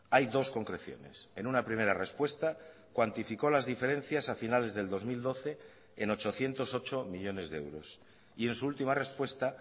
hay dos concreciones en una primera respuesta cuantificó las diferencias a finales del dos mil doce en ochocientos ocho millónes de euros y en su última respuesta